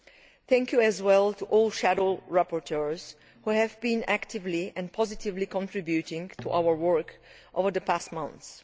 I would also like to thank all shadow rapporteurs who have been actively and positively contributing to our work over the past months.